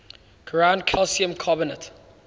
ground calcium carbonate